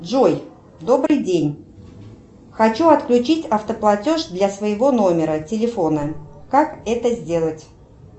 джой добрый день хочу отключить автоплатеж для своего номера телефона как это сделать